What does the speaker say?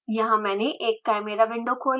यहाँ मैंने एक chimera विंडो खोली है